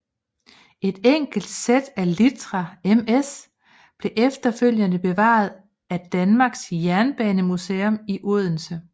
Et enkelt sæt af litra MS blev efterfølgende bevaret af Danmarks Jernbanemuseum i Odense